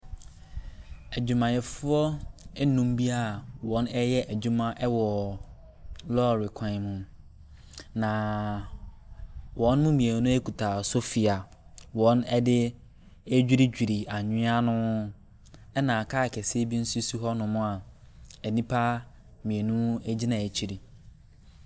Adwumayɛfoɔ enum bi a wɔreyɛ adwuma ɛwɔ lɔɔre kwan mu, na wɔn mmienu ekuta sofi a wɔde retwiritweri anwia no, ɛnna kaa kɛseɛ bi nso si hɔ nom a nnipa mmienu egyina akyire.